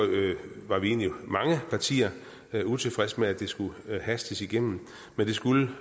var egentlig mange partier utilfredse med at det skulle hastes igennem det skulle